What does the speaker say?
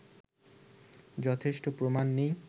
যথেষ্ট প্রমাণ নেই